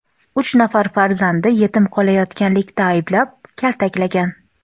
uch nafar farzandi yetim qolayotganlikda ayblab, kaltaklagan.